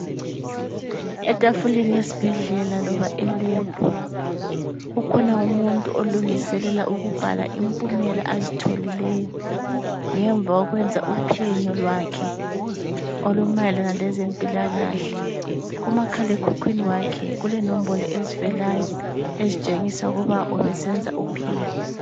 Etafuleni yesibhedlela loba elebhu, kukhona umuntu olungiselela ukubhala impumela azitholileyo, ngemva kokwenza uphenyo lwakhe olumayelana lezempilakahle, kumakhalekhukhwini wakhe kulenombolo ezivelayo ezithengisa ukuthi ubesenza uphenyo.